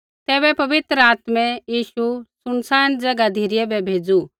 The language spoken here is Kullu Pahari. तैबै पवित्र आत्मै यीशु सुनसान ज़ैगा धिरै बै भेज़ू